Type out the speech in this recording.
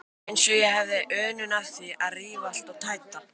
Eins og ég hefði unun af því að rífa allt og tæta.